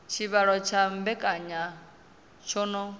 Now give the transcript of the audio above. tshivhalo tsha mbekanya tsho no